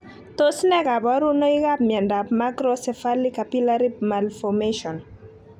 Tos ne kaborunoikab miondop macrocephaly capillary malformation?